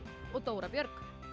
og Dóra Björg